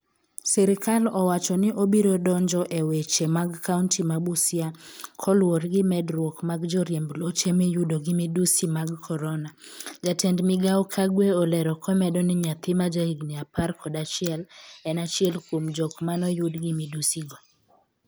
sirkal owacho ni obiro donjo e weche mag kaonti ma Busia koluwore gi medruok mag joriemb loche miyudo gi midhusi mag korona. Jatend migao Kagwe olero komedo ni nyathi ma jahigni apar kod achiel en achiel kuom jok manoyud gi midhusi go